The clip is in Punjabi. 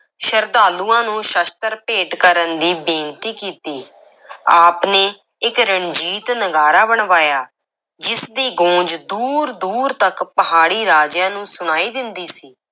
ਸ਼ਰਧਾਲੂਆਂ ਨੂੰ ਸ਼ਸਤਰ ਭੇਟ ਕਰਨ ਦੀ ਬੇਨਤੀ ਕੀਤੀ ਆਪ ਨੇ ਇੱਕ ਰਣਜੀਤ ਨਗਾਰਾ ਬਣਵਾਇਆ, ਜਿਸ ਦੀ ਗੂੰਜ ਦੂਰ-ਦੂਰ ਤੱਕ ਪਹਾੜੀ ਰਾਜਿਆਂ ਨੂੰ ਸੁਣਾਈ ਦਿੰਦੀ ਸੀ।